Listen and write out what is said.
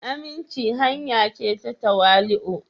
aminci hanya ce ta tawali'u.